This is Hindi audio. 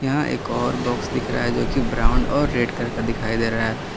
यहां एक और बॉक्स दिख रहा है जो कि ब्राउन और रेड करके दिखाई दे रहा है।